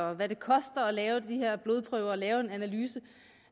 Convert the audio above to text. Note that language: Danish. og hvad det koster at lave de her blodprøver og lave en analyse